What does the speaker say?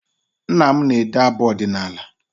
Nna m na-ede abụ ọdịnaala